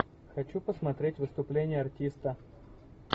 хочу посмотреть выступление артиста